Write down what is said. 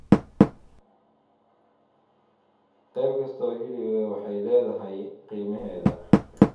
Qayb kasta oo hilib ah waxay leedahay qiimaheeda.